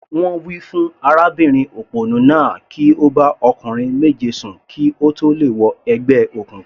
Wọ́n wí fún arábìnrin òpònú náà kí ó bá ọkùnrin méje sùn kí ó tó lè wọ ẹgbẹ́ òkùnkùn.